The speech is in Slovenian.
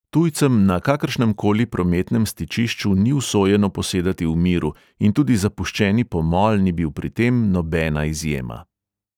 Tujcem na kakršnem koli prometnem stičišču ni usojeno posedati v miru in tudi zapuščeni pomol ni bil pri tem nobena izjema.